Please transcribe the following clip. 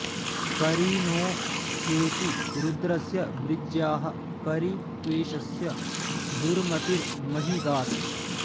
परि णो हेती रुद्रस्य वृज्याः परि त्वेषस्य दुर्मतिर्मही गात्